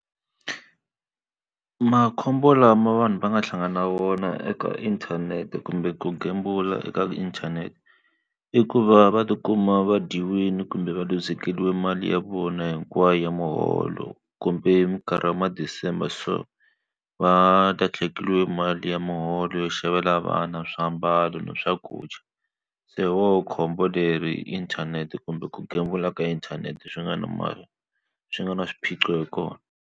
Makhombo lama vanhu va nga hlangana na vona eka inthanete kumbe ku gembula eka inthanete i ku va va ti kuma va dyiwile kumbe va luzekeriwa mali ya vona hinkwayo ya muholo kumbe h minkarhi wa ma December so va mali ya muholo yo xavela vana swiambalo na swakudya se woho khombo leri inthanete kumbe ku gembula ka inthanete swi nga na swi nga na swiphiqo hi kona.